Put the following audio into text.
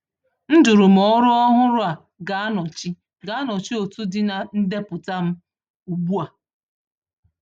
M jụrụ ma ọrụ ọhụrụ a ga-anọchi ga-anọchi otu dị na ndepụta m ugbu a.